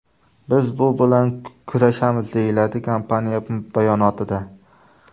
Biz bu bilan kurashamiz”, deyiladi kompaniya bayonotida.